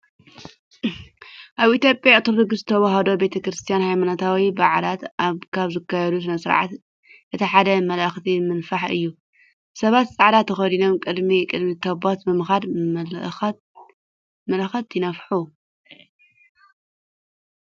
ኣብ ኢትዮጵያ ኦርቶዶክስ ተዋህዶ ቤተ ክርስቲያን ሃይማኖታዊ በዓላት ካብ ዝካየዱ ስነስርዓታት እቲ ሓደ መለኸት ምንፋሕ እዩ። ሰባት ፃዕዳ ተኸዲኖም ቅድሚ ቅድሚ ታቦት ብምዃድ መለኸት ይነፍሑ።